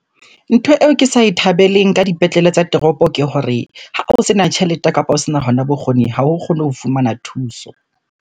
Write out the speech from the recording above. Ntho eo ke sa e thabeleng ka dipetlele tsa toropo, ke hore ha o sena tjhelete kapo o sena hona bokgoni ha o kgone ho fumana thuso.